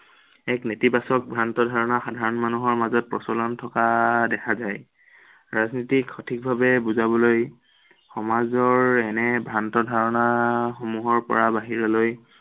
নেতিবাচক ভ্ৰান্ত ধাৰণা সাধাৰণ মানুহৰ মাজত প্ৰচলন থকা দেখা যায়। ৰাজনীতিক সঠিকভাৱে বুজাবলৈ সমাজৰ এনে ভ্ৰান্ত ধাৰণা সমূহৰ পৰা বাহিৰলৈ